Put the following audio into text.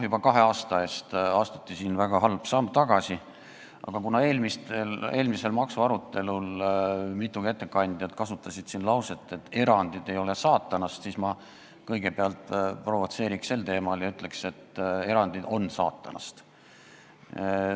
Juba kahe aasta eest astuti siin väga halb samm tagasi, aga kuna eelmisel maksuarutelul kasutasid mitu ettekandjat lauset, et erandid ei ole saatanast, siis ma kõigepealt provotseerin sel teemal ja ütlen, et erandid on saatanast.